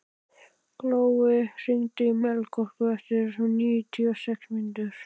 Glói, hringdu í Melkorku eftir níutíu og sex mínútur.